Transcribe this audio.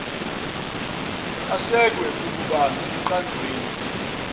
asekwe kububanzi ekuqanjweni